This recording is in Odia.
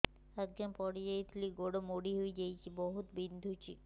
ଆଜ୍ଞା ପଡିଯାଇଥିଲି ଗୋଡ଼ ମୋଡ଼ି ହାଇଯାଇଛି ବହୁତ ବିନ୍ଧୁଛି